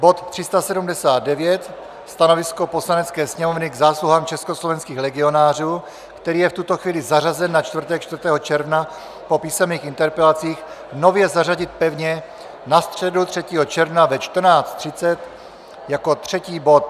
bod 379 - Stanovisko Poslanecké sněmovny k zásluhám československých legionářů, který je v tuto chvíli zařazen na čtvrtek 4. června po písemných interpelacích, nově zařadit pevně na středu 3. června ve 14.30 jako třetí bod;